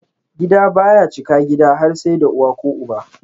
Gida baya cika gida har sai da uwa ko uba.